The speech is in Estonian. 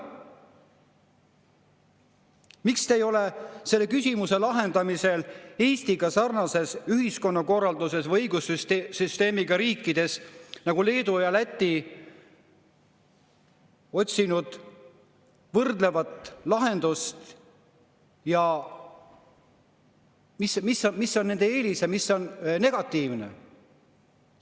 Miks te ei ole selle küsimuse lahendamisel otsinud võrdlevat lahendust Eestiga sarnase ühiskonnakorraldusega või õigussüsteemiga riikidest nagu Leedu ja Läti, et mis on nende eelis ja mis on negatiivne?